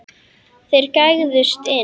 Þeir gægðust inn.